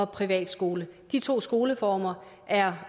privatskole de to skoleformer er